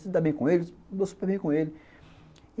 Se dá bem com ele, eu dou super bem com ele.